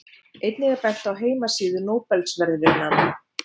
Einnig er bent á heimasíðu Nóbelsverðlaunanna.